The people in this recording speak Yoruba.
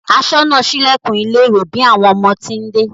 Aṣọ́nà sílẹ̀kùn ilé ìwé bí àwọn ọmọ ti ń dé